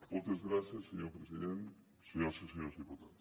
moltes gràcies senyor president senyores i senyors diputats